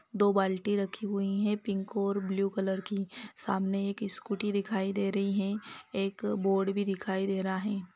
दो बाल्टी रखी हुईं है पिंक और ब्लू कलर की सामने एक स्कूटी दिखाई दे रही है एक बोर्ड भी दिखाई दे रहा हैं।